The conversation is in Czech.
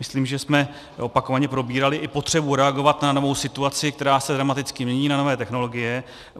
Myslím, že jsme opakovaně probírali i potřebu reagovat na novou situaci, která se dramaticky mění, na nové technologie.